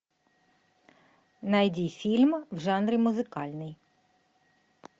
найди фильм в жанре музыкальный